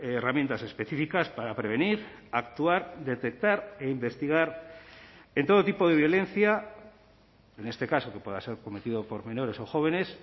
herramientas específicas para prevenir actuar detectar e investigar en todo tipo de violencia en este caso que pueda ser cometido por menores o jóvenes